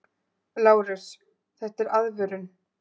LÁRUS: Þetta er aðvörun!